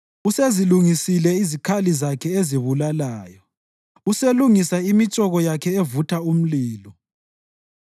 Usezilungisile izikhali zakhe ezibulalayo; uselungisa imitshoko yakhe evutha umlilo.